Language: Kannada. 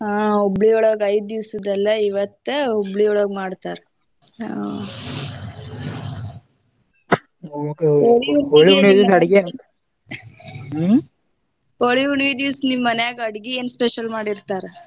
ಹಾ ಹುಬ್ಳಿಯೊಳಗ ಐದ ದಿವಸದ ಅಲ್ಲಾ ಇವತ್ತ ಹುಬ್ಳಿಯೊಳಗ ಮಾಡ್ತಾರ ಹೋಳಿ ಹುಣ್ಣಿವಿ ದಿವಸ ನಿಮ ಮನ್ಯಾಗ ಅಡ್ಗಿ ಏನ special ಮಾಡಿರ್ತಾರ.